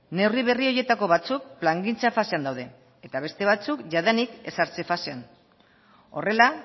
neurri berri horietako batzuk plangintza fasean daude eta beste batzuk jadanik ezartze fasean horrela